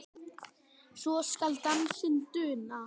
svo skal dansinn duna